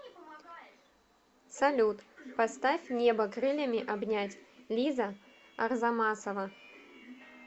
салют поставь небо крыльями обнять лиза арзамасова